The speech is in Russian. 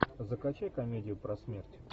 закачай комедию про смерть